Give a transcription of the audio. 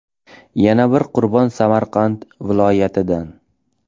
Yana bir qurbon Samarqand viloyatidan.